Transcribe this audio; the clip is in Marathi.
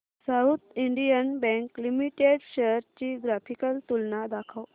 south Indian Bank Limited shares ची ग्राफिकल तुलना दाखव